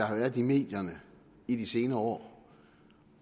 har været i medierne i de senere år